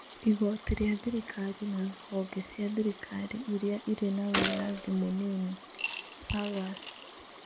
Igoti rĩa thirikari na honge cia thirikari iria ĩrĩ na wĩyathi mũnini (SAGAs)